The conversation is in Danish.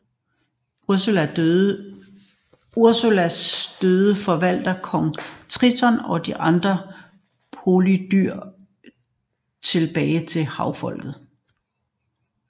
Ursulas døde forvandler kong Triton og de andre polypdyr tilbage til havfolk